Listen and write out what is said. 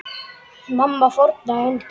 Mamma fórnaði höndum.